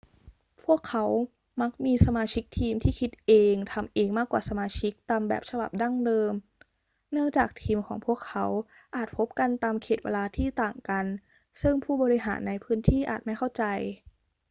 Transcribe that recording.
พวกเขามักมีสมาชิกทีมที่คิดเองทำเองมากกว่าสมาชิกตามแบบฉบับดั้งเดิมเนื่องจากทีมของพวกเขาอาจพบกันตามเขตเวลาที่ต่างกันซึ่งผู้บริหารในพื้นที่อาจไม่เข้าใจ